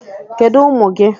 Kedu ụmụ gị?